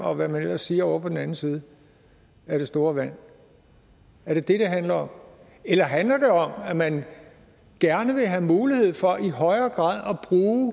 og hvad man ellers siger ovre på den anden side af det store vand er det det det handler om eller handler det om at man gerne vil have mulighed for i højere grad